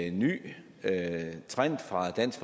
en ny trend fra dansk